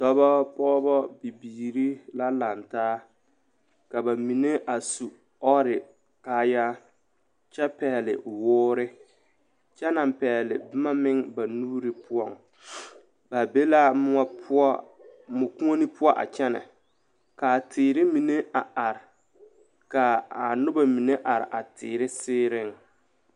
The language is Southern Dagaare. Dɔbɔ, pɔɡebɔ bibiiri la lantaa ka ba mine a su ɔɔre kaayaa kyɛ pɛɡele woori kyɛ naŋ pɛɡele boma meŋ ba nuuri poɔ ba be la mɔkuone poɔ a kyɛnɛ ka teere mine a are ka a noba mine are a teere seereŋ.